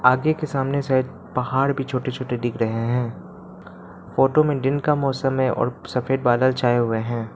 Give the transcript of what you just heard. आगे के सामने से पहाड़ भी छोटे छोटे दिख रहे हैं फोटो में दिन का मौसम है और सफेद बादल छाए हुए हैं।